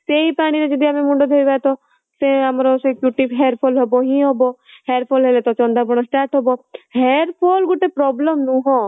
ସେଇ ପାଣିରେ ଆମେ ଯଦି ମୁଣ୍ଡ ଧୋଇବା ତ ସେର ଆମର ସେଇ hair fall ହବ ହିଁ ହବ hair fall ହେଲେ ଚନ୍ଦା ପଣ start ହବ hair fall ଗୋଟେ problem ନୁହଁ